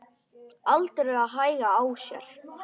Aldrei að hægja á sér.